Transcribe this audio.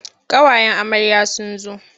Ƙawayen amarya sun zo.